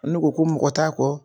Munnu ko ko mɔgɔ t'a kɔ